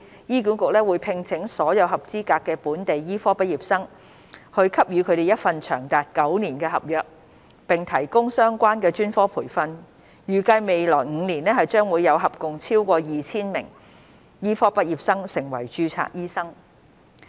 醫管局會聘請所有合資格的本地醫科畢業生，給予他們一份長達9年的合約，並提供相關專科培訓，預計未來5年將會有合共超過 2,000 名醫科畢業生成為註冊醫生。